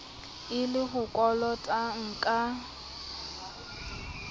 e le o kolotang ka